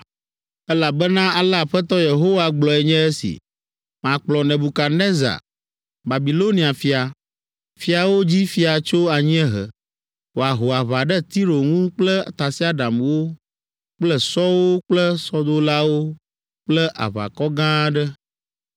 “Elabena ale Aƒetɔ Yehowa gblɔe nye si. Makplɔ Nebukadnezar, Babilonia fia, fiawo dzi fia tso anyiehe, wòaho aʋa ɖe Tiro ŋu kple tasiaɖamwo kple sɔwo kple sɔdolawo kple aʋakɔ gã aɖe.